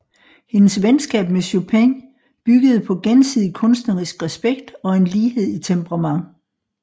Hendes venskab med Chopin byggede på gensidig kunstnerisk respekt og en lighed i temperament